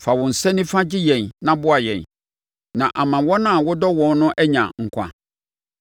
Fa wo nsa nifa gye yɛn na boa yɛn, na ama wɔn a wodɔ wɔn no anya nkwa.